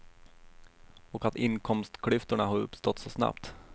Och att inkomstklyftorna har uppstått så snabbt.